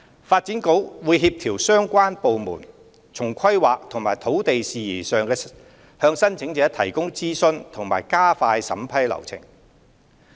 發展局會協調相關部門從規劃和土地事宜上向申請者提供諮詢和加快審批流程。